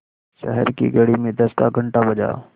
शहर की घड़ी में दस का घण्टा बजा